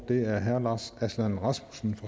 er herre lars aslan rasmussen